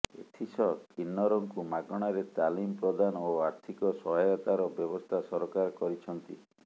ଏଥିସହ କିନ୍ନରଙ୍କୁ ମାଗଣାରେ ତାଲିମ ପ୍ରଦାନ ଓ ଅର୍ଥୀକ ସହାୟତାର ବ୍ୟବସ୍ଥା ସରକାର କରିଛନ୍ତି